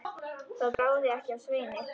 Það bráði ekki af Sveini.